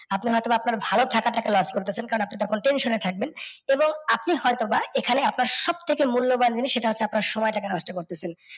আপনি হয়তো বা আপনার ভালো থাকা টাকে loss করতেছেন কারণ আপনি তখন tention এ থাকবেন এবং আপনি হয়তো বা এখানে আপনার সব থেকে মূল্যবান সেটা হচ্ছে আপনার সময় টাকে নষ্ট করতেছেন।